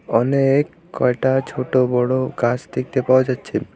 অনেক কয়টা ছোট বড়ো গাছ দেখতে পাওয়া যাচ্ছে।